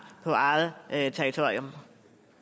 på eget territorium